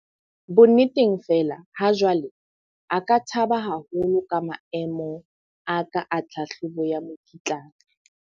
Bonneteng fela ha jwale a ka thaba haholo ka maemo a ka a tlhahlobo ya mokitlane.